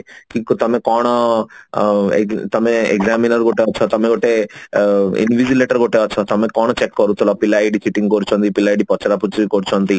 କିନ୍ତୁ ତମେ କଣ ଅ ତମେ examiner ଗୋଟେ ଆଛା ତମେ ଗୋଟେ ଅ ତମେ କଣ check କରୁଥିଲ ପିଲା ଏଠି Cheating କରୁଛନ୍ତି ପିଲା ଏଠି ପଚରା ପୁଚୁରି କରୁଛନ୍ତି